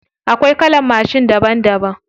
Akwai kalan mashin daban daban.